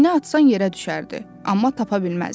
İynə atsan yerə düşərdi, amma tapa bilməzdin.